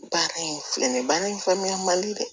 Baara in filɛ nin ye baara in faamuya man di dɛ